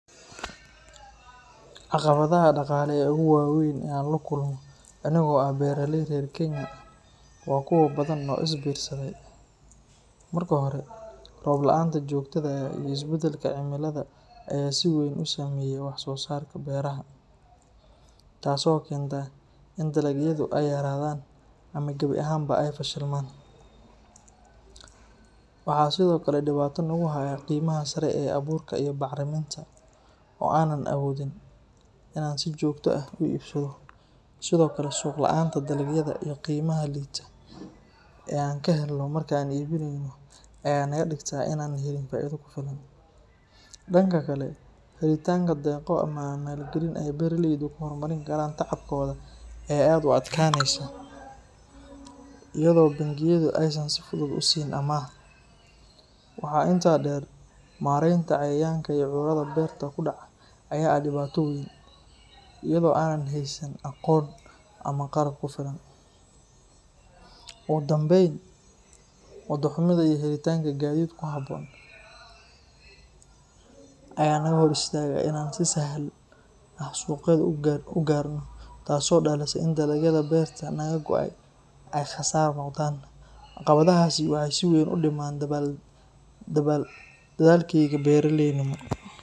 Caqabadaha dhaqaale ee ugu waaweyn ee aan la kulmo anigoo ah beeraley reer Kenya ah waa kuwo badan oo is biirsaday. Marka hore, roob la’aanta joogtada ah iyo isbedelka cimilada ayaa si weyn u saameeya wax-soosaarka beeraha, taasoo keenta in dalagyadu ay yaraadaan ama gabi ahaanba ay fashilmaan. Waxaa sidoo kale dhibaato nagu haya qiimaha sare ee abuurka iyo bacriminta oo aanan awoodin in aan si joogto ah u iibsado. Sidoo kale, suuq la’aanta dalagyada iyo qiimaha liita ee aan ka helno marka aan iibinayno ayaa naga dhigta inaanan helin faa’iido ku filan. Dhanka kale, helitaanka deeqo ama maalgelin ay beeraleydu ku horumarin karaan tacabkooda ayaa aad u adkaanaysa, iyadoo bangiyadu aysan si fudud u siin amaah. Waxaa intaa dheer, maaraynta cayayaanka iyo cudurrada beerta ku dhaca ayaa ah dhibaato weyn, iyadoo aanan haysan aqoon ama qalab ku filan. Ugu dambayn, waddo xumida iyo helitaanka gaadiid ku habboon ayaa naga hor istaaga in aan si sahal ah suuqyada u gaarno, taasoo dhalisa in dalagyadii beerta naga go’ay ay khasaar noqdaan. Caqabadahaasi waxay si weyn u dhimaan dadaalkayga beeraleynimo.